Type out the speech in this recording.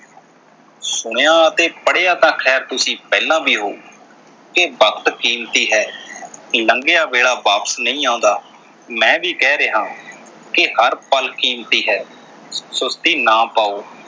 ਸੁਣਿਆ ਅਤੇ ਪੜ੍ਹਿਆ ਤਾਂ ਖ਼ੈਰ ਤੁਸੀਂ ਪਹਿਲਾਂ ਵੀ ਹੋਊ ਕਿ ਵਕਤ ਕੀਮਤੀ ਹੈ। ਲੰਘਿਆ ਵੇਲਾ ਵਾਪਸ ਨਈਂ ਆਉਂਦਾ। ਮੈਂ ਵੀ ਕਹਿ ਰਿਹਾਂ ਕਿ ਹਰ ਪਲ਼ ਕੀਮਤੀ ਹੈ ਸੁਸਤੀ ਨਾ ਪਾਓ।